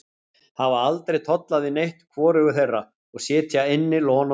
Hafa aldrei tollað við neitt, hvorugur þeirra, og sitja inni lon og don.